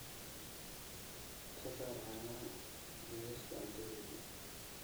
ka saar caanaha liiska cuntadayda